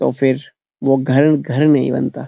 तो फिर वो घर घर नहीं बनता।